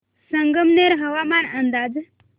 संगमनेर हवामान अंदाज